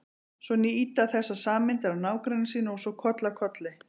Svo ýta þessar sameindir á nágranna sína og svo koll af kolli.